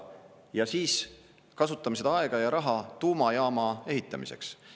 Ja siis kasutame seda aega ja raha tuumajaama ehitamiseks.